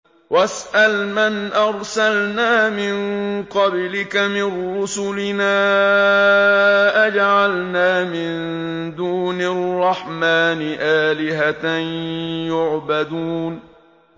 وَاسْأَلْ مَنْ أَرْسَلْنَا مِن قَبْلِكَ مِن رُّسُلِنَا أَجَعَلْنَا مِن دُونِ الرَّحْمَٰنِ آلِهَةً يُعْبَدُونَ